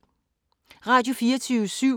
Radio24syv